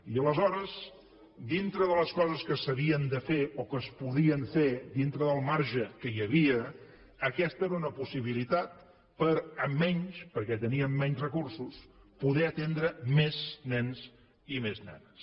i aleshores dintre de les coses que s’havien de fer o que es podien fer dintre del marge que hi havia aquesta era una possibilitat per amb menys perquè teníem menys recursos poder atendre més nens i més nenes